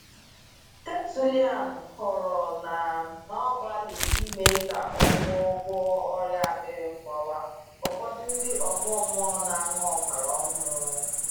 Tertullian kọrọ na n’ọgbalị ime ka a gwọọ gwọọ ọrịa akpịrị mgbawa, ụfọdụ ndị ọgọ mmụọ na-aṅụ ọbara ọhụrụ.